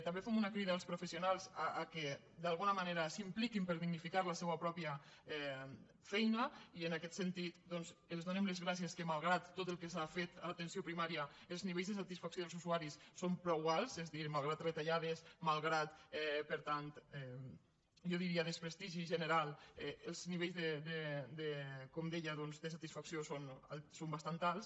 també fem una crida als professionals que d’alguna manera s’impliquin per dignificar la seva pròpia feina i en aquest sentit els donem les gràcies que malgrat tot el que s’ha fet en l’atenció primària els nivells de satisfacció i els usuaris són prou alts és a dir malgrat retallades malgrat per tant jo diria desprestigi general els nivells com deia de satisfacció són bastant alts